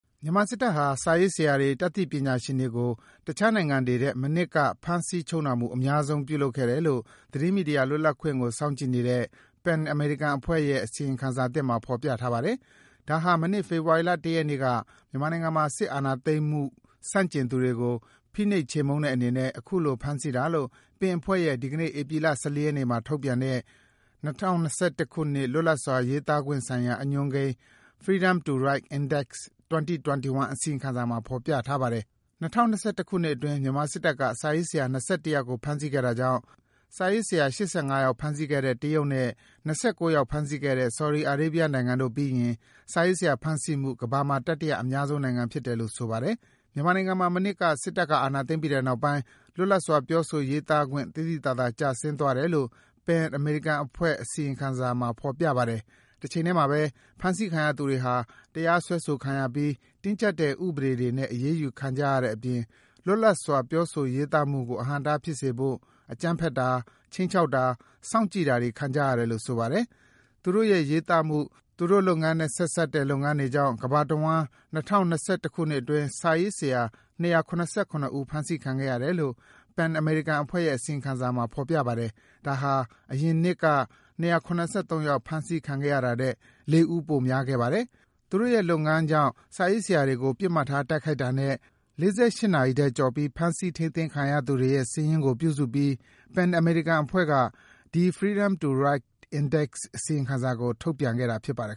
မြန်မာစစ်တပ်ဟာ စာရေးဆရာတွေ၊ တတ်သိပညာရှင်တွေကို တခြားနိုင်ငံတွေထက် မနှစ်က ဖမ်းဆီးချုပ်နှောင်မှု အများဆုံး လုပ်ခဲ့တယ်လို့ သတင်းမီဒီယာလွတ်လပ်ခွင့်ကို စောင့်ကြည့်နေတဲ့ PEN အမေရိကအဖွဲ့ရဲ့ အစီရင်ခံစာသစ်မှာ ဖော်ပြထားပါ တယ်။ ဒါဟာ မနှစ် ဖေဖော်ဝါရီလ ၁ ရက်နေ့က မြန်မာနိုင်ငံမှာ စစ်အာဏာသိမ်းမှု ဆန့် ကျင်သူတွေကို ဖိနှိပ်ချေမှုန်းတဲ့အနေနဲ့ အခုလို ဖမ်းဆီးတာလို့ PEN အဖွဲ့က ဒီကနေ့ ဧပြီလ ၁၄ ရက်နေ့မှာ ထုတ်ပြန်တဲ့ ၂၀၂၁ လွတ်လပ်စွာရေးသားခွင့်ဆိုင်ရာ အညွှန်းကိန်း Freedom to Write Index 2021 အစီရင်ခံစာမှာ ဖော်ပြထားပါတယ်။ ၂၀၂၁ ခုနှစ်အတွင်း မြန်မာစစ်တပ်က စာရေးဆရာ ၂၁ ယောက်ကို ဖမ်းဆီးခဲ့တာကြောင့် စာရေးဆရာ ၈၅ ယောက် ဖမ်းဆီးခဲ့တဲ့ တရုတ်နဲ့ ၂၉ ယောက် ဖမ်းဆီးခဲ့တဲ့ ဆော်ဒီအာရေးဗီးယားနိုင်ငံတို့ပြီးရင် စာရေးဆရာဖမ်းဆီးမှု ကမ္ဘာမှာ တတိယအများဆုံးနိုင်ငံ ဖြစ်တယ်လို့ ဆိုပါတယ်။ မြန်မာနိုင်ငံမှာ မနှစ်က စစ်တပ်က အာဏာသိမ်းပြီးတဲ့နောက်ပိုင်း လွတ်လပ်စွာ ပြောဆိုရေးသားခွင့် သိသိသာသာ ကျဆင်း သွားတယ်လို့ PEN အမေရိကအဖွဲ့ အစီရင်ခံစာမှာ ဖော်ပြပါတယ်။ တချိန်ထဲမှာပဲ ဖမ်းဆီးခံရသူတွေဟာ တရားစွဲဆိုခံရပြီး တင်းကြပ်တဲ့ဥပဒေတွေနဲ့ အရေးယူခံကြရတဲ့အပြင် လွတ်လပ်စွာ ပြောဆိုရေးသားမှုကို အဟန့်အတားဖြစ်စေဖို့ အကြမ်းဖက်တာ၊ ခြိမ်းခြောက်တာ၊ စောင့်ကြည့်တာတွေ ခံကြရတယ်လို့ ဆိုပါတယ်။ သူတို့ရဲ့ ရေးသားမှု၊ သူတို့လုပ်ငန်းနဲ့ ဆက်စပ်တဲ့လုပ်ငန်းတွေကြောင့် ကမ္ဘာတဝန်း ၂၀၂၁ ခုနှစ်အတွင်း စာရေးဆရာ ၂၇၇ ဦး ဖမ်းဆီးခံခဲ့ရတယ်လို့ PEN အမေရိကအဖွဲ့ရဲ့ အစီရင်ခံစာမှာ ဖော်ပြပါတယ်။ ဒါဟာ အရင်နှစ်က ၂၇၃ ယောက် ဖမ်းဆီးခံခဲ့ရ တာ ထက် ၄ ဦး ပိုများခဲ့ပါတယ်။ သူတို့ရဲ့လုပ်ငန်းကြောင့် စာရေးဆရာတွေကို ပစ်မှတ်ထားတိုက်ခိုက်တာနဲ့ ၄၈ နာရီ ထက်ကျော်ပြီး ဖမ်းဆီး ထိန်းသိမ်းခံရသူတွေ ရဲ့ စာရင်းကိုပြုစုပြီး PEN အမေရိကအဖွဲ့က ဒီ Freedom to Write Index အစီရင်ခံစာကို ထုတ်ပြန်တာဖြစ်ပါတယ်